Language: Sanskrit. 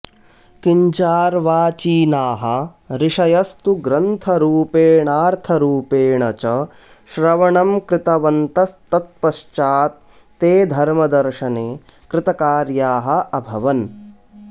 किञ्चार्वाचीनाः ऋषयस्तु ग्रन्थरूपेणार्थरूपेण च श्रवणं कृतवन्तस्तत्पश्चात्ते धर्मदर्शने कृतकार्याः अभवन्